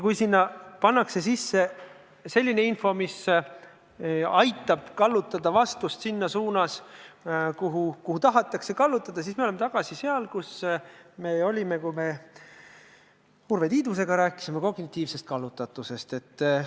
Kui sinna pannakse sisse selline info, mis aitab kallutada vastust selles suunas, kuhu tahetakse kallutada, siis me oleme tagasi seal, kus me olime, kui me Urve Tiidusega kognitiivsest kallutatusest rääkisime.